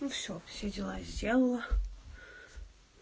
ну все все дела сделала